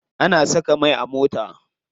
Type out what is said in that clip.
Ana saka mai a mota.